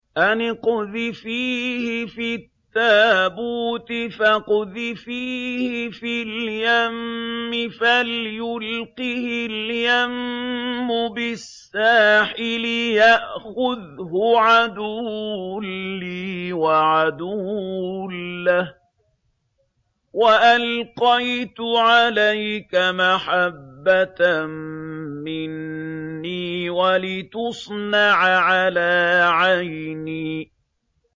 أَنِ اقْذِفِيهِ فِي التَّابُوتِ فَاقْذِفِيهِ فِي الْيَمِّ فَلْيُلْقِهِ الْيَمُّ بِالسَّاحِلِ يَأْخُذْهُ عَدُوٌّ لِّي وَعَدُوٌّ لَّهُ ۚ وَأَلْقَيْتُ عَلَيْكَ مَحَبَّةً مِّنِّي وَلِتُصْنَعَ عَلَىٰ عَيْنِي